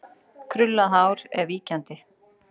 Krullað hár er víkjandi.